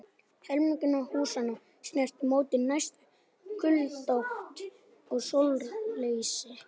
Helmingur húsanna sneri móti mestu kuldaátt og sólarleysi.